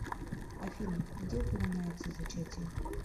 афина где упоминается зачатие